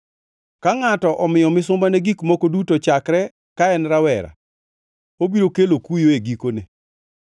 Ka ngʼato omiyo misumbane gik moko duto chakre ka en rawera, obiro kelo kuyo e gikone.